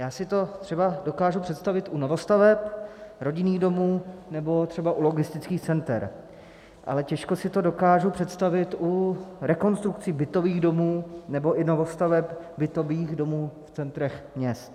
Já si to třeba dokážu představit u novostaveb, rodinných domů nebo třeba u logistických center, ale těžko si to dokážu představit u rekonstrukcí bytových domů nebo i novostaveb bytových domů v centrech měst.